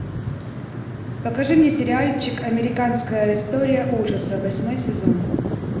покажи мне сериальчик американская история ужасов восьмой сезон